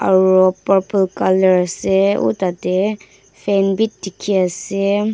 aru purple colour ase uh tah teh fan bhi dikhi ase.